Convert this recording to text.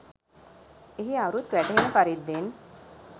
එහි අරුත් වැටහෙන පරිද්දෙන්